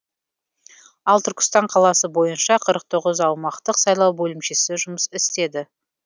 ал түркістан қаласы бойынша қырық тоғыз аумақтық сайлау бөлімшесі жұмыс істеді